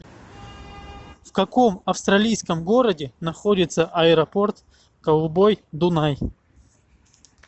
в каком австралийском городе находится аэропорт голубой дунай